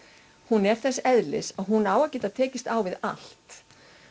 er þess eðlis að hún á að geta tekist á við allt